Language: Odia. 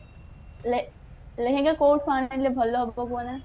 ଲେ ଲେହେଙ୍ଗା କଉଠୁ ଆଣିଲେ ଭଲ ହବ କୁହନା